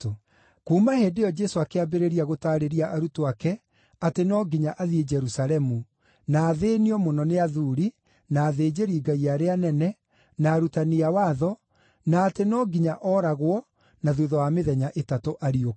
Kuuma hĩndĩ ĩyo Jesũ akĩambĩrĩria gũtaarĩria arutwo ake atĩ no nginya athiĩ Jerusalemu, na athĩĩnio mũno nĩ athuuri, na athĩnjĩri-Ngai arĩa anene, na arutani a watho, na atĩ no nginya ooragwo, na thuutha wa mĩthenya ĩtatũ ariũke.